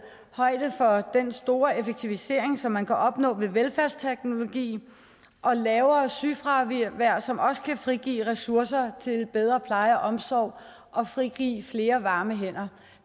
højde for den store effektivisering som man kan opnå med velfærdsteknologi og lavere sygefravær som også kan frigive ressourcer til bedre pleje og omsorg og frigive flere varme hænder